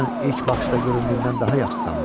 Sən ilk baxışda göründüyündən daha yaxşı imiş.